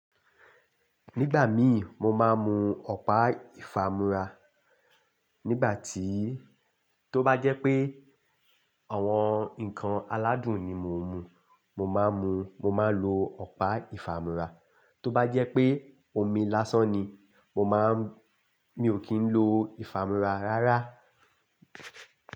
Nígbà mi mo máa ń mu ọ̀pá ìfàmúra. Nígbà tí, tó bá jẹ́ pé àwọn ǹkan aládùn ni mo ń mu, mo máa ń mu, mo máa ń lo ọ̀pá ìfàmúra. Tó bá jẹ́ pé omi lásán ni, mo má ń, mi ò kí ń lo ìfàmúra rárá.